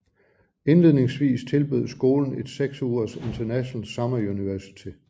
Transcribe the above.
Indledningsvis tilbød skolen et seks ugers International Summer University